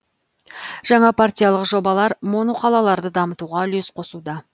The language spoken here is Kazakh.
жаңа партиялық жобалар моноқалаларды дамытуға үлес қосуда